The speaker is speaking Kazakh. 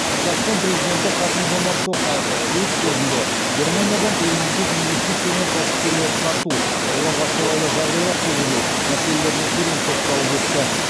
қазақстан президенті қасым жомарт тоқаев өз сөзінде германиядан елімізге инвестиция мен кәсіпкерлерді тарту оларға қолайлы жағдайлар туғызу мәселеріне терең тоқталып өтті